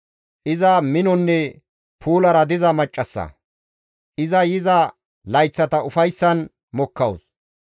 Iza minonne puulara diza maccassa; iza yiza layththata ufayssan mokkawus.